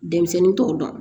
Denmisɛnnin t'o dɔn